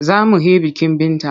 Za mu he bikin Binta.